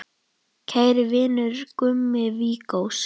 Kæri vinur, Gummi Viggós.